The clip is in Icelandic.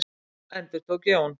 Nú endurtók Jón.